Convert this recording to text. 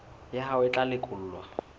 ya hao e tla lekolwa